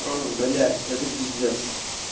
блять это пиздец